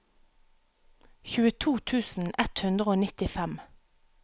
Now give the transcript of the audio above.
tjueto tusen ett hundre og nittifem